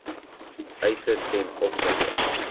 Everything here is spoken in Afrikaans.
eise ten opsigte